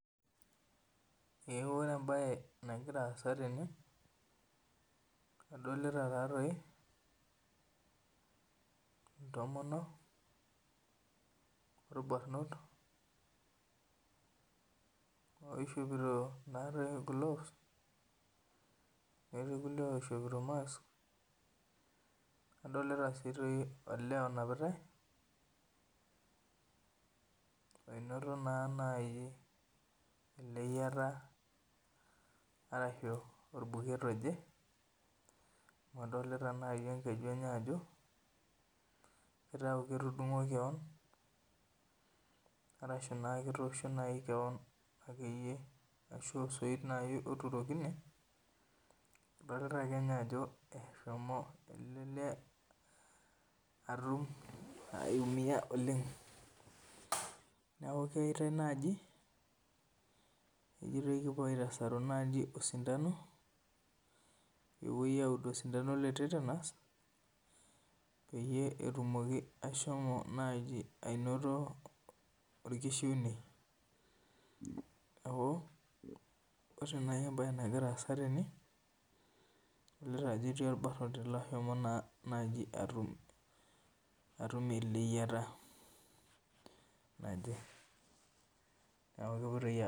Ee ore ebae nagira aasa tene, adolita tatoi intomonok orbanot oishopito natoi gloves, netii irkulie oishopito mask, nadolita si toi olee onapitai oinoto naa nai oleyiata arashu matejo orbuket oje, adolita nai enkeju enye ajo kitau ketudung'o keon, arashu naa ketosho nai keon aikoyie ashu osoit nai otuurokine, adolta akenye ajo eshomo ele lee atum aiumia oleng. Neeku keitai naji ejitoi kipuo aitasaru naji osindano, pepoi aud osindano le tetenas, peyie etumoki ashomo naji anoto orkishiunei. Neeku, ore nai ebae nagira aasa tene, adolita ajo etii orbanoti loshomo naa naji atum eleyiata naje. Neeku kepoitoi